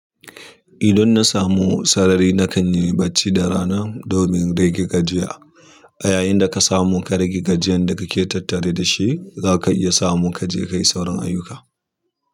Idan na samu sarari na kan yi bacci da rana domin rage gajiya. Yayinda ka samu ka rage gajiyan da ka ke tattare da shi za ka iya samu kaje kayi sauran ayuka.